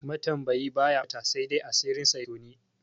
Matambayi baya ɓata, saidai asirinsa ya toni.